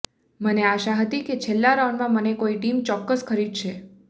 મને આશા હતી કે છેલ્લા રાઉન્ડમાં મને કોઈ ટીમ ચોક્કસ ખરીદશે